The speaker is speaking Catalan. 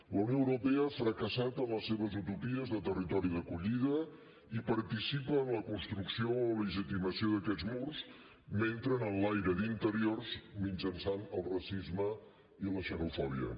la unió europea ha fracassat en les seves utopies de territori d’acollida i participa en la construcció o legitimació d’aquests murs mentre n’enlaira d’interiors mitjançant el racisme i la xenofòbia